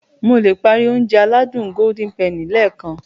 Mo le páári Ounjẹ aládùn Golden penny lẹ́ẹ̀kan